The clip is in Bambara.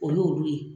O y'olu ye